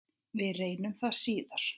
Við reyndum það síðara!